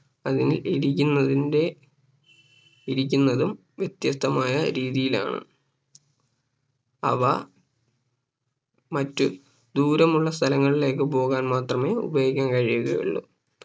അല്ലങ്കിൽ ഇരിക്കുന്നതിന്റെ ഇരിക്കുന്നതും വ്യത്യസ്തമായ രീതിയിലാണ് അവ മറ്റ്‌ ദൂരമുള്ള സ്ഥലങ്ങളിലേക്ക് പോവാൻ മാത്രമേ ഉപയോഗിക്കാൻ കഴിയുകയുള്ളൂ